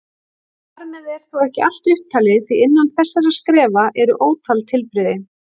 Þar með er þó ekki allt upptalið því innan þessara skrefa eru ótal tilbrigði.